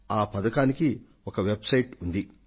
ఆ పథకానికి ఒక వెబ్ సైట్ ఉంది